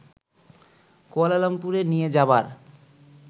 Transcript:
কুয়ালালামপুরে নিয়ে যাবার